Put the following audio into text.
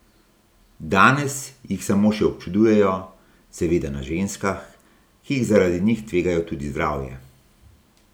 Danes jih samo še občudujejo, seveda na ženskah, ki zaradi njih tvegajo tudi zdravje.